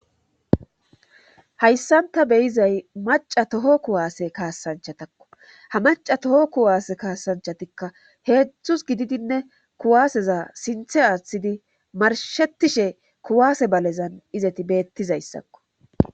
Hayssanta beyizay maca toho kuwaase kaasanchatakko ha maca toho kuwaase kaasanchatikka heedzdzus gididinne kuwaaseza sinthe aaththidi marshetishe kuwaase balezan izeti beettizayssakko